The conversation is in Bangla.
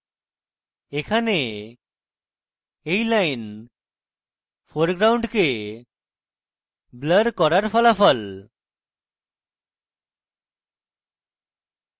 এখানে এই lines ফোরগ্রাউন্ডকে blur করার ফলাফল